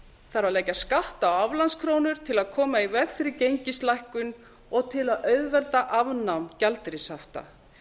þarf að leggja skatt á aflandskrónur til að koma í veg fyrir gengislækkun og til að auðvelda afnám gjaldeyrishafta